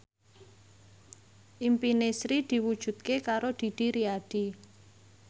impine Sri diwujudke karo Didi Riyadi